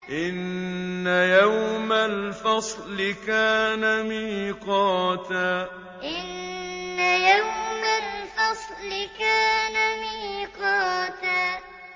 إِنَّ يَوْمَ الْفَصْلِ كَانَ مِيقَاتًا إِنَّ يَوْمَ الْفَصْلِ كَانَ مِيقَاتًا